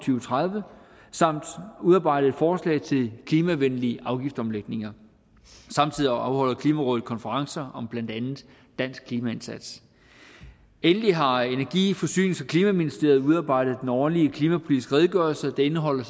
tredive samt udarbejdet forslag til klimavenlige afgiftsomlægninger samtidig afholder klimarådet konferencer om blandt andet dansk klimaindsats endelig har energi forsynings og klimaministeriet udarbejdet den årlige klimapolitiske redegørelse der indeholder